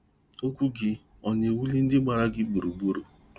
Okwu gị ọ na-ewuli ndị gbara gị gburugburu?